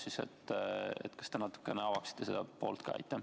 Kas te avaksite natuke ka seda poolt?